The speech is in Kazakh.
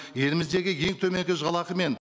еліміздегі ең төменгі жалақымен